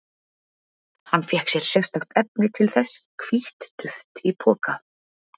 Hann fékk sér sérstakt efni til þess, hvítt duft í poka.